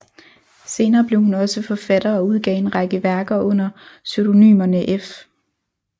Senere blev hun også forfatter og udgav en række værker under pseudonymerne F